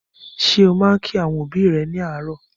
Ṣé ó máa ń kí àwọn òbí rẹ ní àràárọ̀?